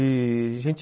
E a gente...